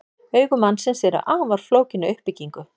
Augu mannsins eru afar flókin að uppbyggingu.